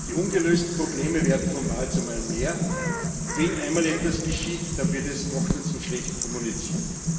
Die ungelösten Probleme werden von Mal zu Mal mehr. Und wenn einmal etwas geschieht, dann wird es noch dazu schlecht kommuniziert.